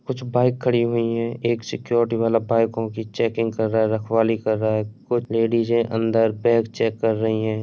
कुछ बाइक खड़ी हुई है। एक सिक्युरिटी वाला बाइकों की चेकिंग कर रहा है। रखवाली कर रहा है। कुछ लेडीजे अंदर बेग चेक कर रही हैं।